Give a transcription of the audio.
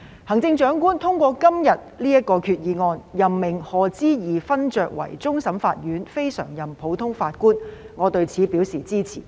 行政長官通過今天的決議案，任命賀知義勳爵為終審法院非常任普通法法官，我對此表示支持。